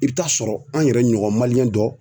I bɛ t'a sɔrɔ an yɛrɛ ɲɔgɔn dɔ